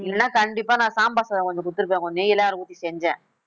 இல்லைன்னா கண்டிப்பா நான் சாம்பார் சாதம் கொஞ்சம் குடுத்திருக்பேன் நெய் எல்லாம் வேற ஊத்தி செஞ்சேன்